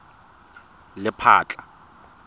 lephatla